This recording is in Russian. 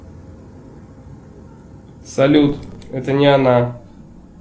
салют это не она